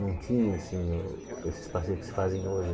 Não tinha, assim, o esses passeios que se fazem hoje.